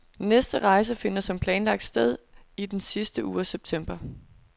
Næste rejse finder som planlagt sted i den sidste uge af september.